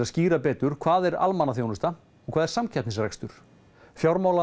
skýra betur hvað sé almannaþjónusta og hvað samkeppnisrekstur